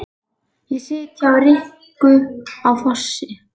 Ég sit hjá Rikku á Fossi